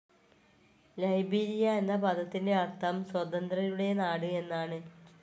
Liberia എന്ന പദത്തിൻ്റെ അർത്ഥം സ്വതന്ത്രരുടെ നാട് എന്നാണ്.